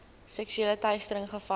seksuele teistering gevalle